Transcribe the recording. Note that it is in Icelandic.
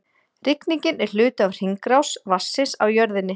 Rigningin er hluti af hringrás vatnsins á jörðinni.